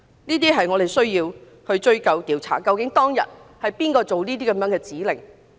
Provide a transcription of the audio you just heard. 這些我們都需要追究和調查，究竟當日是誰發出這些指令。